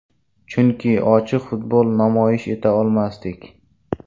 Chunki ochiq futbol namoyish eta olmasdik.